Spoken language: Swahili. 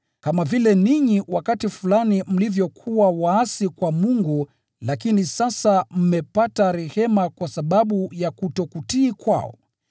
Kama vile ninyi wakati fulani mlivyokuwa waasi kwa Mungu lakini sasa mmepata rehema kwa sababu ya kutokutii kwao,